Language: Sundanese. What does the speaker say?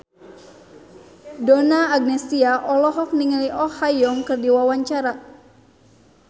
Donna Agnesia olohok ningali Oh Ha Young keur diwawancara